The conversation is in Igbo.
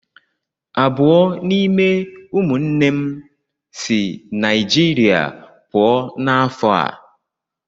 Abụọ n'ime ụmụnne m si Naijirịa pụọ ​​n'afọ a.